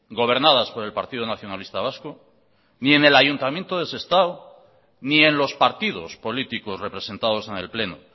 gobernadas por el partido nacionalista vasco ni en el ayuntamiento de sestao ni en los partidos políticos representados en el pleno